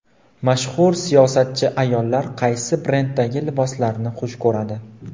Mashhur siyosatchi ayollar qaysi brenddagi liboslarni xush ko‘radi .